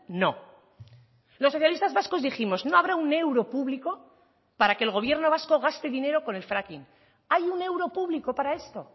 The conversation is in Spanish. no los socialistas vascos dijimos no habrá un euro público para que el gobierno vasco gaste dinero con el fracking hay un euro público para esto